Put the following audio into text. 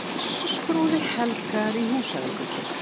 Messuskrúði helgaður í Húsavíkurkirkju